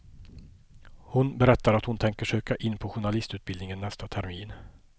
Hon berättar att hon tänker söka in på journalistutbildningen nästa termin.